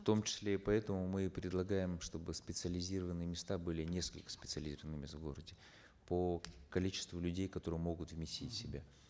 в том числе поэтому мы предлагаем чтобы специализированные места были несколько специализированных мест в городе по количеству людей которые могут вместить в себя